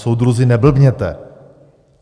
Soudruzi, neblbněte!